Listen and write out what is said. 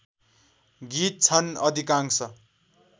गीत छन् अधिकांश